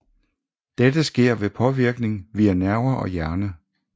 Dette sker ved påvirkning via nerver og hjerne